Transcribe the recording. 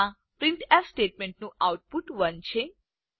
આ પ્રિન્ટફ સ્ટેટમેન્ટનું આઉટપુટ 1 છે